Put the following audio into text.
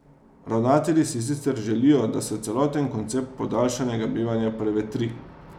Ravnatelji si sicer želijo, da se celoten koncept podaljšanega bivanja prevetri.